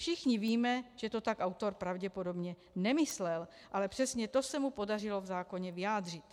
Všichni víme, že to tak autor pravděpodobně nemyslel, ale přesně to se mu podařilo v zákoně vyjádřit.